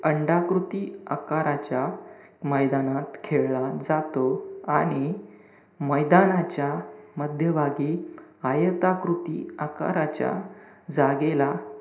अंडाकृती आकाराच्या मैदानात खेळाचा तो आणि मैदानाच्या मध्यभागी आयताकृती आकाराच्या जागेला,